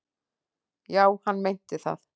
Já, hann meinti það.